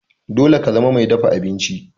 Dole ka zama mai dafa abinci!